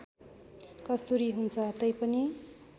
कस्तुरी हुन्छ तैपनि